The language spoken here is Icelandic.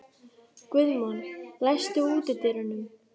Guðmon, læstu útidyrunum.